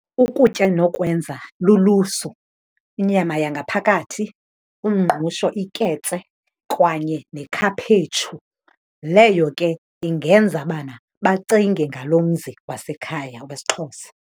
Ukutya endinokwenza lulusu, inyama yangaphakathi, umngqusho, iketse kwanye nekhaphetshu. Leyo ke ingenza bana bacinge ngalo mzi wasekhaya wesiXhosa.